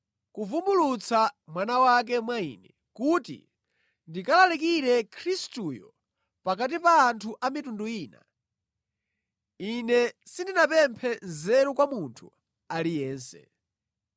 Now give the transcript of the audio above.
kuvumbulutsa Mwana wake mwa ine, kuti ndikalalikire Khristuyo pakati pa anthu a mitundu ina, ine sindinapemphe nzeru kwa munthu aliyense.